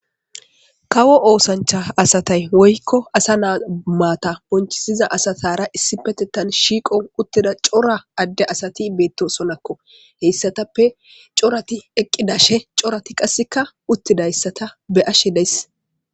Kawo osancha asata woyko asa na mara bonchisiza asatara issipetetan shiqo utida cora Ade asata betosonako. Asatika corat eqidashn corat qaseka utidaysata beyashe de'ays.